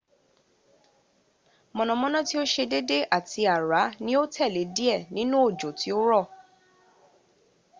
mọ̀nàmọ́ná tí ó ṣe dédé àti àrá ní ó tẹ̀lé díẹ̀ nínu òjò tí ó rọ̀